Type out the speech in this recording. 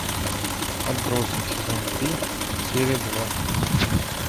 отбросы сезон три серия два